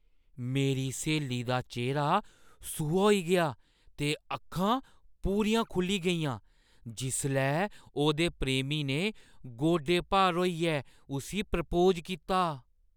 मेरी स्हेली दा चेह्‌रा सूहा होई गेआ ते अक्खां पूरियां खु'ल्ली गेइयां जिसलै ओह्दे प्रेमी ने गोडे भार होइयै उस्सी प्रपोज कीता।